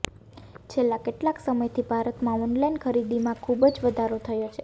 છેલ્લા કેટલાક સમયથી ભારતમાં ઓનલાઈન ખરીદીમાં ખુબ જ વધારો થયો છે